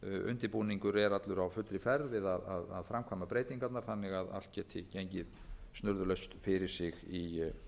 undirbúningur er allur á fullri ferð við að framkvæma breytingarnar þannig að allt geti gengið snurðulaust fyrir sig í